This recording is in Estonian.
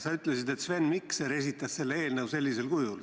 Sa ütlesid, et Sven Mikser esitas selle eelnõu sellisel kujul.